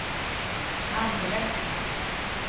andre